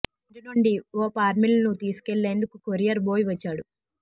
ఈ ఇంటి నుండి ఒ పార్శిల్ ను తీసుకెళ్ళేందుకు కొరియర్ బోయ్ వచ్చాడు